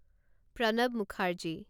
Pranab Mukherjee